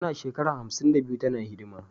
Tana shekara hamsin da biyu tana hidima